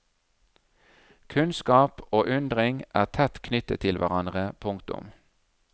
Kunnskap og undring er tett knyttet til hverandre. punktum